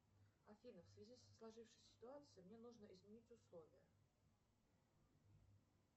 афина в связи со сложившейся ситуацией мне нужно изменить условия